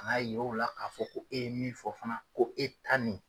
Ka n'a yira ola k'a fɔ ko e ye min fɔ fana ko e ta nin